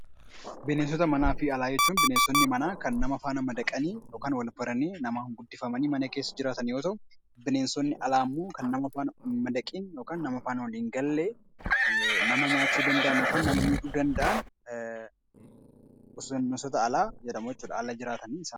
Bineensota manaa fi alaa jechuun bineensonni manaa kan nama wajjin madaqanii yookiin wal baranii namaan guddifamanii mana keessa jiraatan yoo ta’u, bineensonni alaa immoo kana namatti hin madaqiin yookiin nama faana walii hin galle nama nyaachuu danda’an yookiin nama miidhuu danda’an, ala jiraatan bineensota alaa jedhamu jechuudha.